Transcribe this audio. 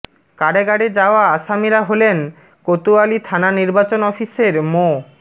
কারাগারে যাওয়া আসামিরা হলেন কোতোয়ালি থানা নির্বাচন অফিসের মো